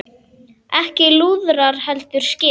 Ekki lúðrar heldur skip.